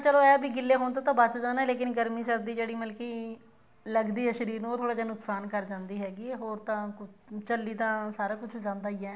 ਚਲੋ ਇਹ ਹੈ ਵੀ ਗਿੱਲੇ ਹੋਣ ਤੋਂ ਤਾਂ ਬਚਦਾ ਨਾ ਲੇਕਿਨ ਗਰਮੀ ਸਰਦੀ ਜਿਹੜੀ ਮਤਲਬ ਕੀ ਲੱਗਦੀ ਹੈ ਸ਼ਰੀਰ ਨੂੰ ਉਹ ਥੋੜਾ ਜਾ ਨੁਕਸਾਨ ਕਰ ਦਿੰਦੀ ਹੈਗੀ ਹੈ ਹੋਰ ਤਾਂ ਚੱਲੀ ਤਾਂ ਸਾਰਾ ਕੁੱਝ ਜਾਂਦਾ ਹੀ ਹੈ